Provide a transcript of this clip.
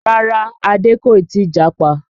Rárá Adé kò ì tí japa